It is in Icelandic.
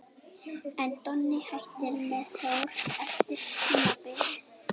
En Donni hættir með Þór eftir tímabilið.